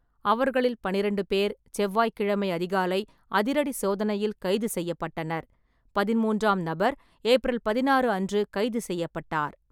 அவர்களில் பன்னிரெண்டு பேர் செவ்வாய்கிழமை அதிகாலை அதிரடி சோதனையில் கைது செய்யப்பட்டனர், பதிமூன்றாம் நபர் ஏப்ரல் பதினாறு அன்று கைது செய்யப்பட்டார்.